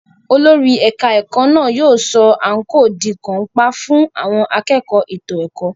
Olórí ẹ̀ka ìkẹ́kọ̀ọ́ náà yóò sọ àǹkóò di kàńpá fún àwọn akẹ́kọ̀ọ́ ètò ẹ̀kọ́.